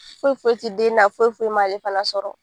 Foyi foyi ti den na foyi foyi m'ale fana sɔrɔ.